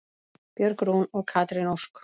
Björg Rún og Katrín Ósk.